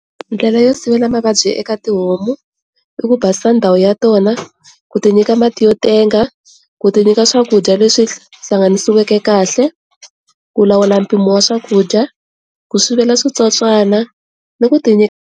Ndlela yo sivela mavabyi eka tihomu i ku basisa ndhawu ya tona, ku ti nyika mati yo tenga, ku ti nyika swakudya leswi hlanganisiweke kahle, ku lawula mpimo wa swakudya, ku sivela switsotswana ni ku ti nyika.